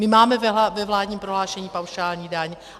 My máme ve vládním prohlášení paušální daň.